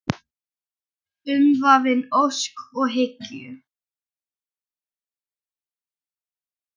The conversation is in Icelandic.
Umvafin ósk og hyggju.